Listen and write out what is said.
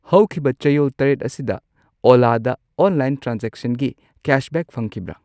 ꯍꯧꯈꯤꯕ ꯆꯌꯣꯜ ꯇꯔꯦꯠ ꯑꯁꯤꯗ ꯑꯣꯂꯥ ꯗ ꯑꯣꯟꯂꯥꯏꯟ ꯇ꯭ꯔꯥꯟꯖꯦꯛꯁꯟꯒꯤ ꯀꯦꯁꯕꯦꯛ ꯐꯪꯈꯤꯕ꯭ꯔ?